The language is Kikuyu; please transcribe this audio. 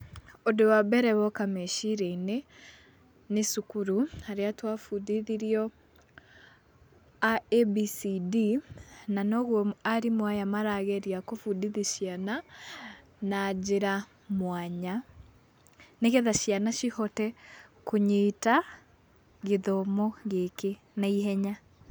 Ũndũ wa mbere woka meciria-inĩ, nĩ cukuru harĩa twabundithirio abcd na noguo arimũ aya marageria kũbundithia ciana, na njĩra mwanya nĩgetha ciana cihote kũnyita gĩthomo gĩkĩ na ihenya.